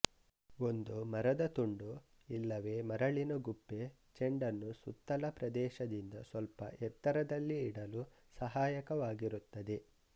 ಒಂದು ಮರದ ತುಂಡು ಇಲ್ಲವೇ ಮರಳಿನ ಗುಪ್ಪೆ ಚೆಂಡನ್ನು ಸುತ್ತಲ ಪ್ರದೇಶದಿಂದ ಸ್ವಲ್ಪ ಎತ್ತರದಲ್ಲಿ ಇಡಲು ಸಹಾಯಕವಾಗಿರುತ್ತದೆ